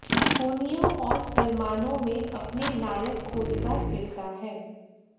धोनियों और सलमानों में अपने नायक खोजता फिरता है